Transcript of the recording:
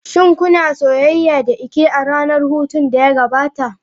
Shin kuna soyayya da Ike a ranar hutun da ya gabata?